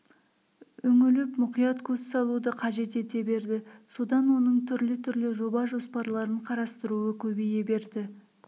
үңіліп мұқият көз салуды қажет ете берді содан оның түрлі-түрлі жол жоба-жоспарларын қарастыруы көбейе берді